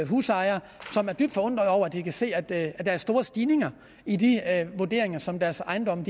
husejere som er dybt forundret over at de kan se at der er store stigninger i de vurderinger som deres ejendomme